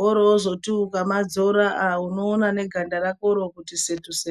woroziti ukamadzora aa unoona neganda rakoro kuti setu setu.